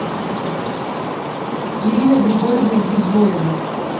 ирина григорьевна гизоева